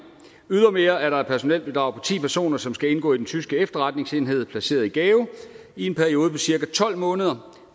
ydermere er der et personelbidrag på ti personer som skal indgå i den tyske efterretningsenhed placeret i gao i en periode på cirka tolv måneder